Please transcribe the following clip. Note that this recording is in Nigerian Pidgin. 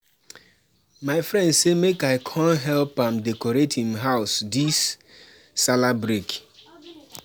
my elder broda don talk to the woman to the woman wey go supply food for the birthday party